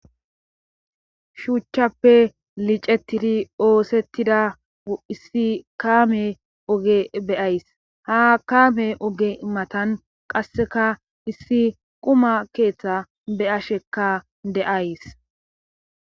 Shuuchchappe licetiri oosettida issi kaame oge beyays ha kaame oge matan qasseka issi quma keeththa be'ashekka de'ays